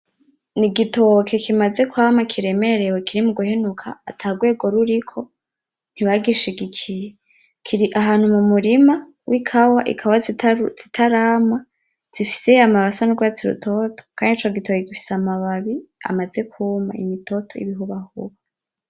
N'igitoke kimaze kwama kiremerewe kiri muguhenuka ata rwego ruriko ntibagishigikiye kiri ahantu mu murima w'ikawa ikawa zitarama zifise amababi sa n'urwatsi rutoto kandi ico gitoki gifise amababi amaze kuma imitoto y'ibihubahuba.